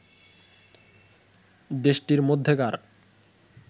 দেশটির মধ্যেকার